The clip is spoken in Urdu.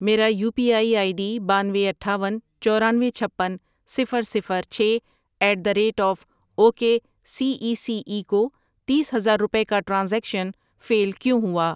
میرا U P I I D بانوے، اٹھاون، چورانوے، چھپن، صفر، صفر، چھ at the rate of O K C E C E کو تیس ہزار روپے کا ٹرانزیکشن فیل کیوں ہوا؟